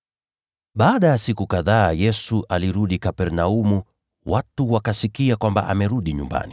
Baada ya siku kadhaa Yesu alirudi Kapernaumu, watu wakasikia kwamba amerudi nyumbani.